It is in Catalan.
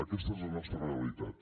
aquesta és la nostra realitat